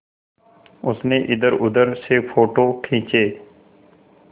उसने इधरउधर से फ़ोटो खींचे